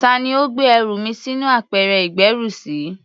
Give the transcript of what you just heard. Tá ni ó gbé ẹrù mi sínú apẹ̀rẹ̀ ìgbẹ́rùsí?